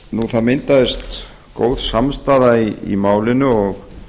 það myndaðist góð samstaða í málinu og